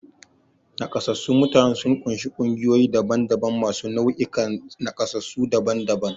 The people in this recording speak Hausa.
Nakasassun mutanen sun ƙunshi ƙungiyoyi daban-daban masu nau'ikan nakasassu daban-daban.